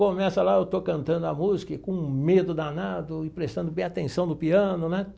Começa lá, eu estou cantando a música e com um medo danado e prestando bem atenção no piano, né?